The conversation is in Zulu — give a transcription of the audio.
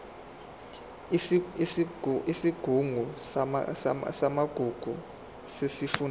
isigungu samagugu sesifundazwe